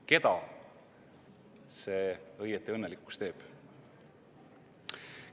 Keda see õieti õnnelikuks teeb?